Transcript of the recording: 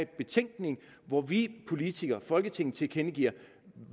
betænkning hvor vi politikere folketinget tilkendegiver